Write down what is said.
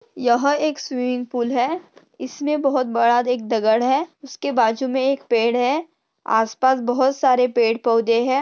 यह एक swimming pool है इसमे बहुत बड़ा एक दगड़ है उसके बाजुमे एक पड़े है आस पास बहुत सारे पेड़ पौधे है।